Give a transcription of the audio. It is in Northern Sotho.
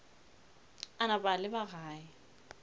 a napa a leba gae